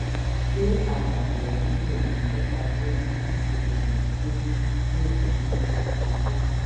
ṣé àdàpọ̀ yìí kò ní nípa lórí bí oògùn èyíkéyìí yóò ṣe múnádóko tó?